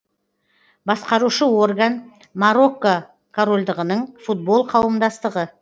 басқарушы орган марокко королдығының футбол қауымдастығы